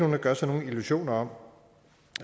der gør sig illusioner om